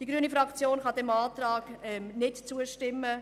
Die grüne Fraktion kann diesem Antrag nicht zustimmen.